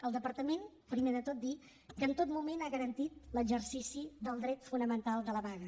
el departament primer de tot dir que en tot moment ha garantit l’exercici del dret fonamental de la vaga